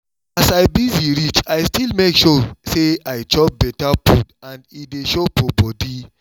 as i busy reach i still make sure say i chop better better food and e dey show for body